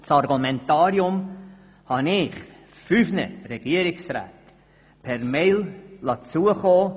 Das Argumentarium habe ich fünf Regierungsräten per E-Mail zukommen lassen.